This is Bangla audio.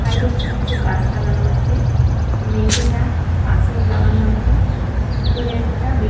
সাইডে ছোটো ছোটো গাছ লাগানো আছে মেঝেটা পাথর লাগানো আছে ভিতরে একটা বে--